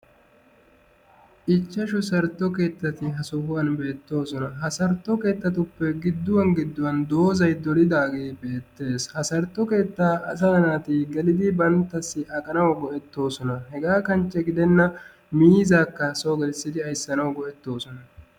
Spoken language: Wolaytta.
Ichchashu sartto keettati ha sohuwan beettoosona. Ha sartto keettatuppe gidduwan gidduwan doozay dolidaagee beettees. Ha sartto keettaa asaa naati gelidi banttassi aqanawu go'ettosona. Hegaa kanchche gidenna miizzaakka so gelissidi ayssanawu go'ettoosona.